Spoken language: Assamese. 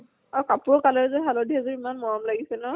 আৰু কাপোৰৰ color যোৰ হালধীয়া যোৰ ইমান মৰম লাগিছে ন।